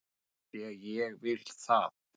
AF ÞVÍ AÐ ÉG VIL ÞAÐ!